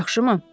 Yaxşımı?